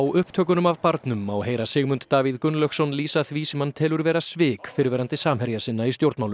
upptökunum af barnum má heyra Sigmund Davíð Gunnlaugsson lýsa því sem hann telur vera svik fyrrverandi samherja sinna í stjórnmálum